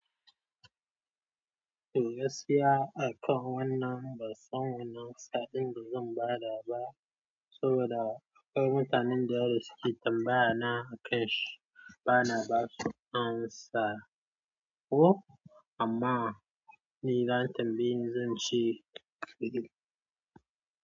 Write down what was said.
To gaskiya a kan wannan, bansan wane ansa ɗin da zan ba da ba, saboda akwai mutanen da irin suke tambayana akanshi, ba na basu amsa. Ko amma ni idan an tambaye zan ci.